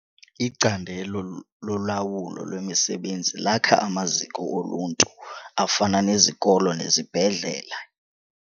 Icandelo lolawulo lwemisebenzi lakha amaziko oluntu afana nezikolo nezibhedlele.